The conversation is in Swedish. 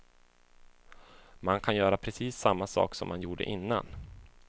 Man kan göra precis samma sak som man gjorde innan.